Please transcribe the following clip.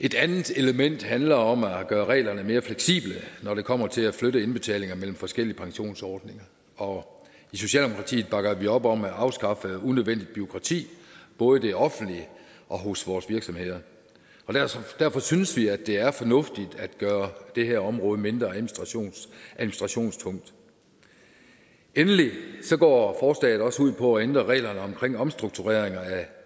et andet element handler om at gøre reglerne mere fleksible når det kommer til at flytte indbetalinger mellem forskellige pensionsordninger og i socialdemokratiet bakker vi op om at afskaffe unødvendigt bureaukrati både i det offentlige og hos vores virksomheder og derfor synes vi at det er fornuftigt at gøre det her område mindre administrationstungt endelig går forslaget også ud på at ændre reglerne for omstrukturering af